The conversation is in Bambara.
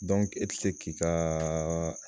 e ti se k'i ka